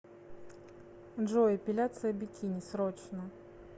джой эпиляция бикини срочно